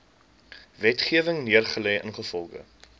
wetgewing neergelê ingevolge